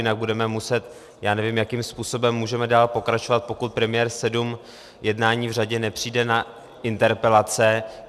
Jinak budeme muset - já nevím, jakým způsobem můžeme dál pokračovat, pokud premiér sedm jednání v řadě nepřijde na interpelace.